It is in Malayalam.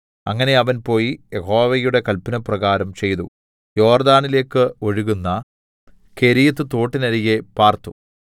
അങ്ങനെ അവൻ പോയി യഹോവയുടെ കല്പനപ്രകാരം ചെയ്തു യോർദ്ദാനിലേക്ക് ഒഴുകുന്ന കെരീത്ത് തോട്ടിനരികെ പാർത്തു